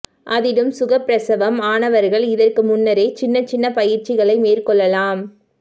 அதிலும் சுகப்பிரசவம் ஆனவர்கள் இதற்கு முன்னரே சின்ன சின்ன பயிற்சிகளை மேற்கொள்ளலாம்